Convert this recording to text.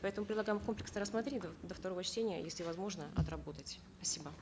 поэтому предлагаем комплексно рассмотреть до второго чтения если возможно отработать спасибо